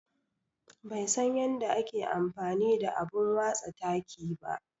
Bai san yanda ake amfani da abun watsa taki ba.